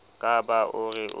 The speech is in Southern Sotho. ka ba o re o